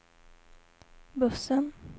bussen